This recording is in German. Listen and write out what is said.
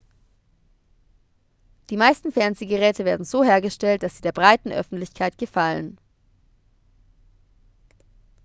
die meisten fernsehgeräte werden so hergestellt dass sie der breiten öffentlichkeit gefallen